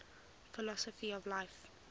philosophy of life